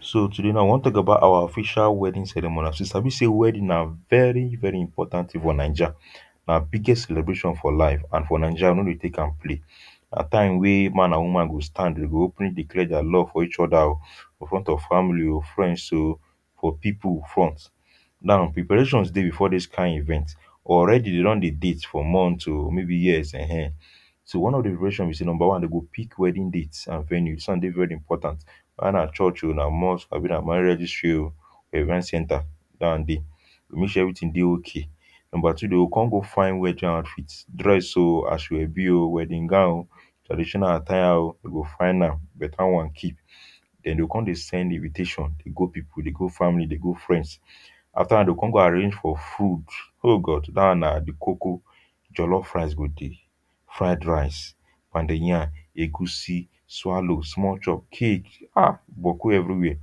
so today now i want talk about our official wedding ceremony. as you sabi say wedding na very very important thing for naija. na biggest celebration for life and for naija we no dey take am play. na time weh man and woman go stand they go openly declare their love for each other o, for front of family o, friends o for people front. now preparations dey before this kain event. already dem don dey date for months o or maybe years um. so one of the preparation be say number one dem go pick wedding date and venue, this one dey very important. weda na church o or na mosque abi na marriage registry o or event centre that one dey. go make sure everything dey okay. number two dem go come go fine wedding outfit outfit dress o ashoebi o wedding gown o traditional attire o dem go find am, better one keep. then dem go come dey send invitation dey go people dey go family dey go friends. after that one dem go come go arrange for food, oh God, that one na the koko. jollof rice go dey, fried rice, pounded yarm, egusi, swallow, small chops, cake um boku everywhere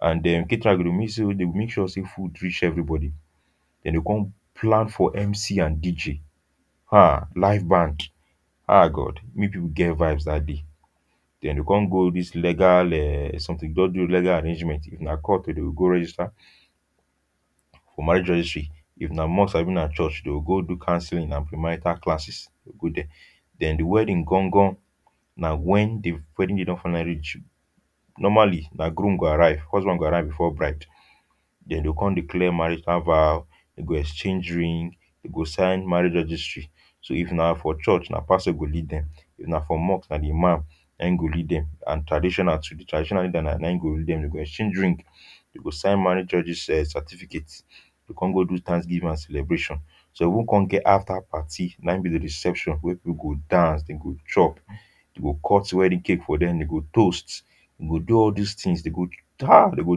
and then caterer go e go dey make sure say food reach everybody. dem go come plan for MC and DJ um live band um God may people go get vibe that day. dem go come go this legal um something just do legal arrangement. if na court dem go go register for marrage registery. if na mosque abi na church dem go go do councelling and pre-marital classes dem go there then the wedding gan gan na when the wedding day don finally normally na groom go arrive husband go arrive before bride. dem go come declare marital vow, dem go exchange ring, den go sign marriage registery, so if na for church na pastor go lead dem if na for mosque na the imam na e go lead dem and traditional too the traditional leader na na in go lead dem. dem go exchange ring, dem go sign marriage regis[um]certificate dem go come do thanksgiving and celebration. some even come get after party na e be the reception weh people go dance, dem go chop, dem go cut wedding cake for dem, dem go toast, dem go do all these things dem go [um]dem go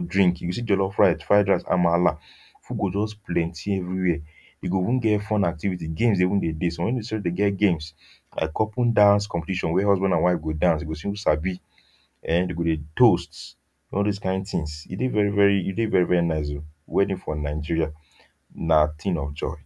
drink if you see jollof rice, fried rice, amala, food go just plenty everywhere. e go even get fun activity, games dey, even dey dey some sef dey get games like couple dance competition weh husband and wife go dance dem go see who sabi [um]dem go dey toast all those kain. things e dey very very e very very nice o wedding for nigeria na thing of joy.